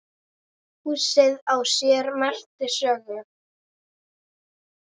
Húsið á sér merka sögu.